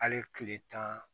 Hali kile tan